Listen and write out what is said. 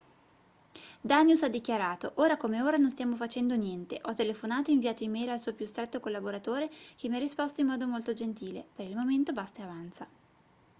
danius ha dischiarato ora come ora non stiamo facendo niente ho telefonato e inviato e-mail al suo più stretto collaboratore che mi ha risposto in modo molto gentile per il momento basta e avanza